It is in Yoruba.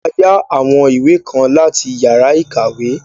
A yá àwọn ìwé kan láti yàrá ìkàwé.